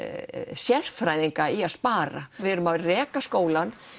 sérfræðinga í að spara við erum að reka skólann